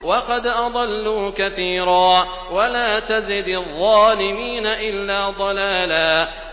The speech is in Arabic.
وَقَدْ أَضَلُّوا كَثِيرًا ۖ وَلَا تَزِدِ الظَّالِمِينَ إِلَّا ضَلَالًا